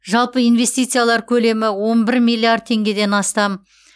жалпы инвестициялар көлемі он бір миллиард теңгеден астап